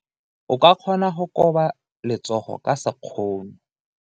O ka kgona go koba letsogo ka sekgono.